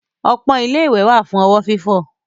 Ọpọ́n ilé-ìwẹ̀ wà fún ọwọ́ fífọ̀.